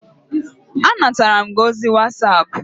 Anatara m gị ozi whatapp